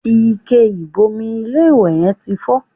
Ike ìbomi ilé-ìwẹ̀ yẹn ti fọ́